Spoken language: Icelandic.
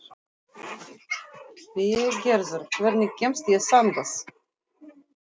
Végerður, hvernig kemst ég þangað?